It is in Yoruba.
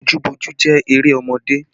Bojúboojú jẹ́ eré ọmọdé